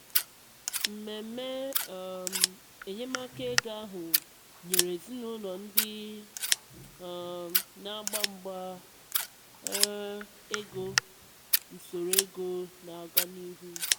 mmemme um enyemaka ego ahụ nyere ezinaụlọ ndị um na-agba mgba um ego usoro ego na-aga n'ihu.